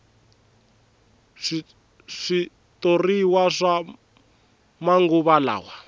switoriwa swa manguva lawa